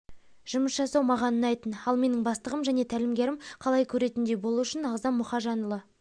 жұмыс жасау маған ұнайтын ал менің бастығым және тәлімгерім қалай көретіндей болу үшін ағзам мұхажанұлы